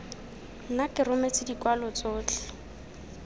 nna ke rometse dikwalo tsotlhe